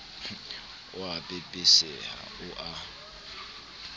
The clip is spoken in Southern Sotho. o a pepeseha o a